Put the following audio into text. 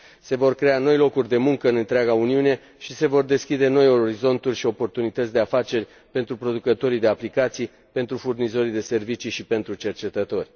Se vor crea noi locuri de muncă în întreaga Uniune și se vor deschide noi orizonturi și oportunități de afaceri pentru producătorii de aplicații, pentru furnizorii de servicii și pentru cercetători.